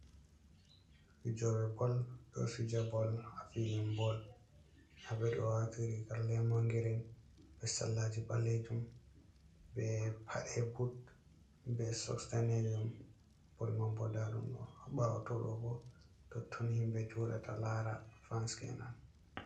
Fijobe bol do fija bol ha filin bol habɓedɗo wati riga lemongiren, be salaji ballejum, be pade but be sox danejum, bol mambo ndadum do bawo todogo to ton himbe jodata lara fans enan.